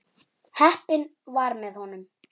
Heppnin var með honum.